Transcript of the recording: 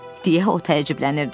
Deyə o təəccüblənirdi.